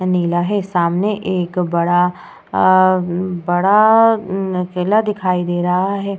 नीला है। सामने एक बड़ा अ बड़ा हम्म किला दिखाई दे रहा है।